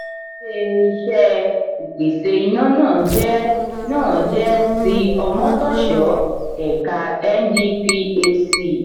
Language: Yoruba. ilé-iṣé ìpèsè iná náà jẹ náà jẹ ti omotosho ẹ̀ka ndphc.